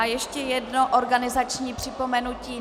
A ještě jedno organizační připomenutí.